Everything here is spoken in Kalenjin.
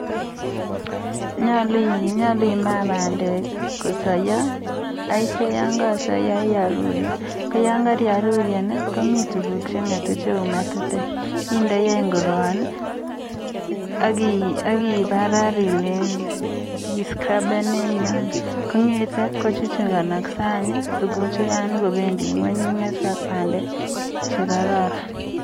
nyalu ima pandek akoi kosaiya akirur kongirur komite tukuk chengetu cheu metetek akiparar ilechi kochukchukanaske akopa ngweny pandek.